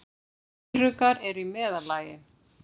Eyruggar eru í meðallagi.